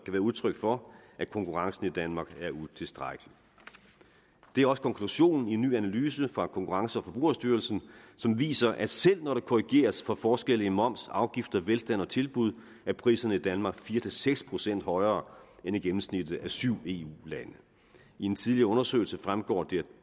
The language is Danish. være udtryk for at konkurrencen i danmark er utilstrækkelig det er også konklusionen i en ny analyse fra konkurrence og forbrugerstyrelsen som viser at selv når der korrigeres for forskelle i moms afgifter velstand og tilbud er priserne i danmark fire seks procent højere end i gennemsnittet af syv eu lande i en tidligere undersøgelse fremgår det